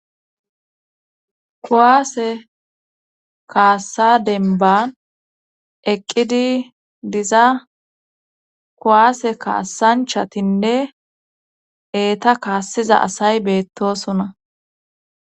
Kuwaase kaassa denban eqqidi diza kuwaase kaassanchatinne eeta kaassiza asay beettosona.